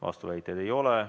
Vastuväiteid ei ole.